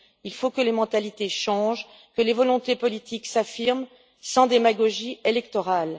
Il faut que les mentalités changent, que les volontés politiques s'affirment sans démagogie électorale.